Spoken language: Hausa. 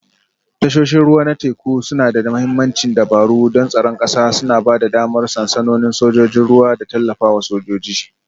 Tashoshin ruwa na teku suna da mahimmancin dabaru don tsaron ƙasa, suna ba da damar sansanonin sojojin ruwa da tallafawa sojoji